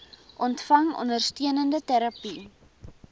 ontvang ondersteunende terapie